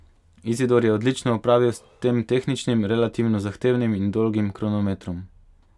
Izidor je odlično opravil s tem tehničnim, relativno zahtevnim in dolgim kronometrom.